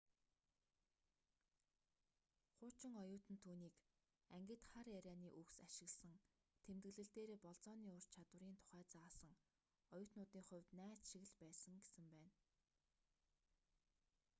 хуучин оюутан түүнийг ангид хар ярианы үгс ашигласан тэмдэглэл дээрээ болзооны ур чадварын тухай заасан оюутнуудын хувьд найз шиг л байсан гэсэн байна